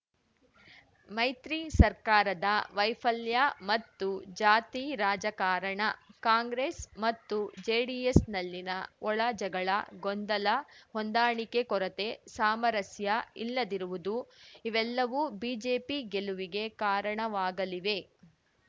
ಮೈತ್ರಿ ಸರ್ಕಾರದ ವೈಫಲ್ಯ ಮತ್ತು ಜಾತಿ ರಾಜಕಾರಣ ಕಾಂಗ್ರೆಸ್‌ ಮತ್ತು ಜೆಡಿಎಸ್‌ನಲ್ಲಿನ ಒಳ ಜಗಳ ಗೊಂದಲ ಹೊಂದಾಣಿಕೆ ಕೊರತೆ ಸಾಮರಸ್ಯ ಇಲ್ಲದಿರುವುದು ಇವೆಲ್ಲವೂ ಬಿಜೆಪಿ ಗೆಲುವಿಗೆ ಕಾರಣವಾಗಲಿವೆ